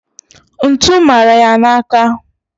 ntu mara ya n'aka..